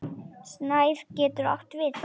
Snær getur átt við